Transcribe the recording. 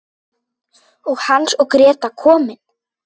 Og Hans og Gréta komin!